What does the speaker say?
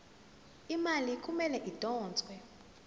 imali kumele idonswe